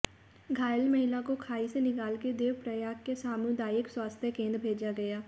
घायल महिला को खाई से निकालकर देवप्रयाग के सामुदायिक स्वास्थ्य केंद्र भेजा गया